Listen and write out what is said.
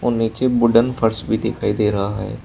और नीचे वुडन फर्श भी दिखाई दे रहा है।